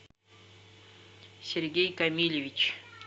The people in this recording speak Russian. сергей камильевич